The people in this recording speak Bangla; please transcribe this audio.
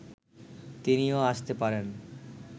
তিনিও আসতে পারেন